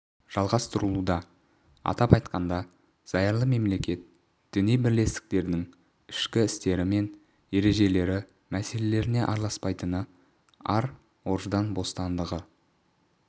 жалғастырылуда атап айтқанда зайырлы мемлекет діни бірлестіктердің ішкі істері мен ережелері мәселелеріне араласпайтыны ар-ождан бостандығы